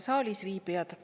Head saalis viibijad!